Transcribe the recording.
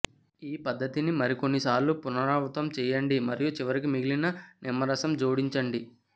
ఈ పద్ధతిని మరికొన్నిసార్లు పునరావృతం చేయండి మరియు చివరికి మిగిలిన నిమ్మ రసంను జోడించండి